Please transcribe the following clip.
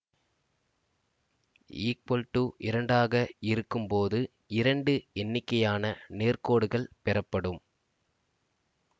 equal to இரண்டு ஆக இருக்கும்போது இரண்டு எண்ணிக்கையான நேர்கோடுகள் பெறப்படும்